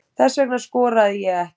Þess vegna skoraði ég ekki